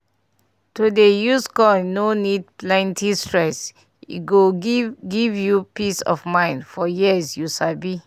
to dey use coil no need plenty stress e go give give you peace of mind for years you sabi.